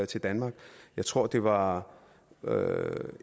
til danmark jeg tror det var